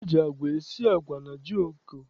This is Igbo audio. E ji agwa esi agwa na jioko.